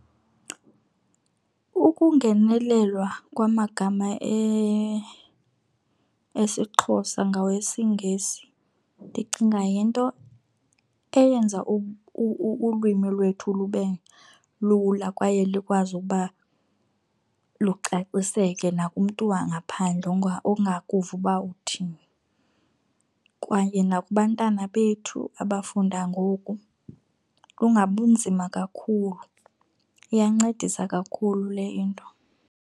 Ukungenelelwa kwamagama esiXhosa ngawesiNgesi ndicinga yinto eyenza ulwimi lwethu lube lula kwaye likwazi ukuba lucaciseke nakumntu wangaphandle ongakuva uba uthini. Kwaye nakubantwana bethu abafunda ngoku lungabi nzima kakhulu, iyancedisa kakhulu le into.